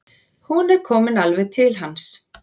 Hún er komin alveg til hans.